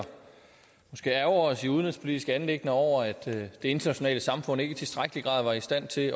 ærgre os i udenrigspolitiske anliggender over at det internationale samfund ikke i tilstrækkelig grad var i stand til